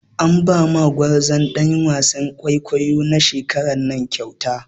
An ba ma gwarzon ɗan wasan kwaikwayo na shekaran nan kyauta.